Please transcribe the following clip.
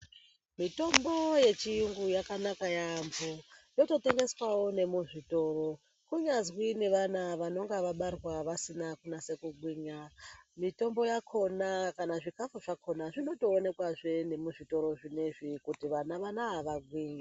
Mitombo yechiyungu yakanaka yaamho yototengeswawo nemuzvitoro kunyazwi nevana vanonga vabarwa vasina kunase kugwinya mitombo yakona kana zvikafu zvakona zvinotoonekwazve nemuzvitoro zvinoizvi kuti vana vanava varye.